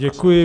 Děkuji.